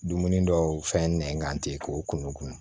Dumuni dɔw fɛn nɛn kan ten k'o kunun kun